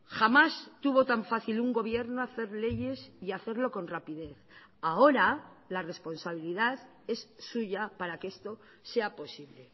jamás tuvo tan fácil un gobierno hacer leyes y hacerlo con rapidez ahora la responsabilidad es suya para que esto sea posible